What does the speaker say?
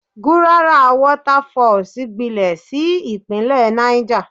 Gurara Waterfalls gbilẹ̀ sí ìpínlẹ̀ Náìjà.